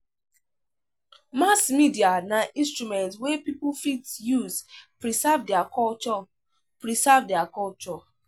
Mass media na instrument wey pipo fit use preserve their culture preserve their culture